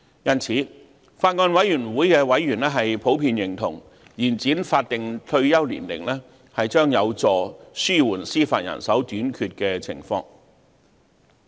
因此，法案委員會的委員普遍認同，延展法定退休年齡將有助紓緩司法人手短缺的情況。